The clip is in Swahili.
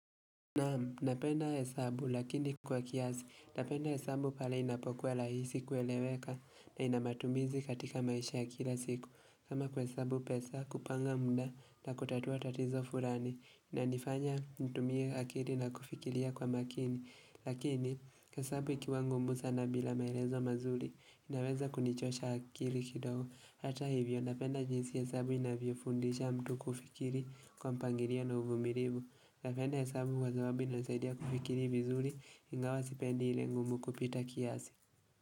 Naam, napenda hesabu lakini kwa kiasi, napenda hesabu pale inapokuwa rahisi kueleweka na ina matumizi katika maisha ya kila siku kama kuhesabu pesa, kupanga muda na kutatua tatizo fulani inanifanya nitumie akili na kufikiria kwa makini lakini hesabu ikiwa ngumu sana bila maelezo mazuri inaweza kunichosha akili kidogo Hata hivyo, napenda jinsi hesabu inavyofundisha mtu kufikiri kwa mpangilio na uvumilifu napenda hesabu kwa sababu inasaidia kufikiri vizuri ingawa sipendi ile ngumu kupita kiasi.